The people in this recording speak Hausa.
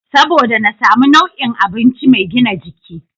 Saboda na samu nau'o'in abinci mai gina jiki.